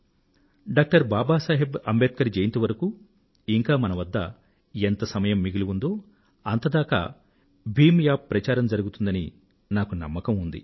doctor Babasaheb Ambedkar జయంతి వరకూ ఇంకా మన వద్ద ఎంత సమయం మిగిలి ఉందో అంతదాకా భీమ్ యాప్ ప్రచారం జరుగుతుందని నాకు నమ్మకం ఉంది